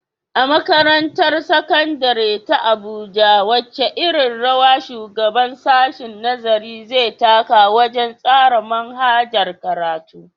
A Makarantar Sakandare ta Abuja, wace irin rawa shugaban sashen nazari zai taka wajen tsara manhajar karatu.